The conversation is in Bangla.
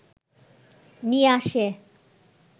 নিয়ে আসে